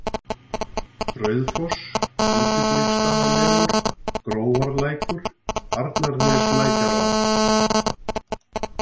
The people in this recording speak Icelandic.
Rauðfoss, Útibliksstaðamelur, Grófarlækur, Arnarneslækjarvað